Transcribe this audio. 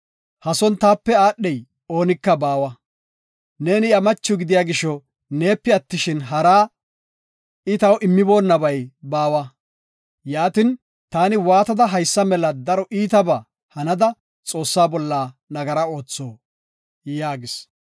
Ha son taape aadhey oonika baawa. Neeni iya macho gidiya gisho, neepe attishin, haraa, I taw immonabay baawa. Yaatin, taani waatada haysa mela daro iitaba hanada Xoossa bolla nagara ootho?” yaagis.